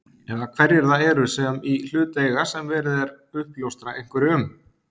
Eða hverjir það eru sem í hlut eiga sem verið er uppljóstra einhverju um?